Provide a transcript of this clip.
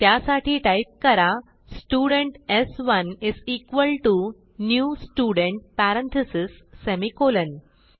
त्यासाठी टाईप करा स्टुडेंट स्1 is equal to new student parentheses semicolon